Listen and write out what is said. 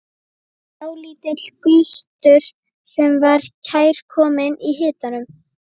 Dálítill gustur sem var kærkominn í hitanum.